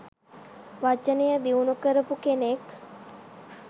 වචනය දියුණු කරපු කෙනෙක්.